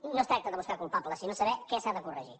no es tracta de buscar culpables sinó de saber què s’ha de corregir